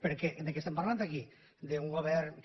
perquè de què estem parlant aquí d’un govern que